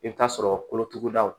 I bɛ taa sɔrɔ kolotugudaw